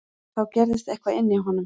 Þá gerðist eitthvað inní honum.